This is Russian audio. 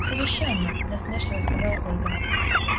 совещание насмешливо сказала ольга